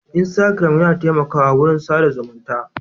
Instagram yana taimakawa wurin sa da zumunta.